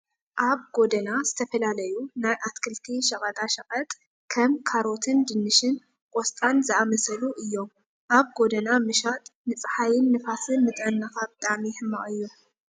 ኣብ ጎደና ዝተፈላለዩ ናይ ኣትክልቲ ሸቀጣሸቀት ከም ካሮትን ድንሽን፣ ቆስጣን ዝኣምሰሉ እዮም። ኣብ ጎደና ምሻጥ ንፀሓይን ንፋስን ንጥዕናካ ብጣዕሚ ሕማቅ እዩ።